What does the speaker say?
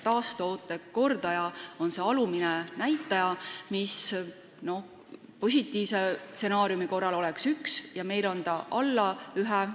Taastekordaja on see alumine näitaja, mis positiivse stsenaariumi korral oleks 1, aga meil on see alla 1.